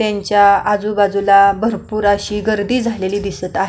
त्यांच्या आजूबाजूला भरपूर गर्दी झालेली दिसत आहे.